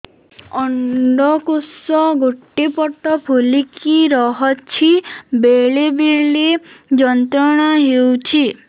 ଅଣ୍ଡକୋଷ ଗୋଟେ ପଟ ଫୁଲିକି ରହଛି ବେଳେ ବେଳେ ଯନ୍ତ୍ରଣା ହେଉଛି